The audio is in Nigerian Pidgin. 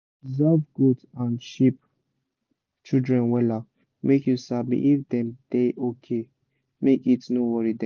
observe goat and sheep children wella make you sabi if dem da okay make heat no worry dem